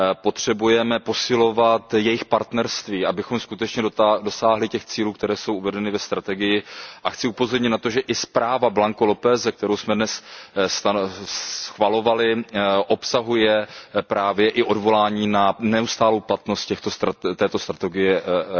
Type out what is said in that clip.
Potřebujeme posilovat jejich partnerství, abychom skutečně dosáhli těch cílů, které jsou uvedeny ve strategii, a chci upozornit na to, že i zpráva pana Blanco Lópeze, kterou jsme dnes schvalovali, obsahuje právě i odvolání na neustálou platnost této strategie EU